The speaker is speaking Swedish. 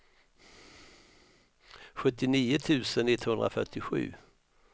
sjuttionio tusen etthundrafyrtiosju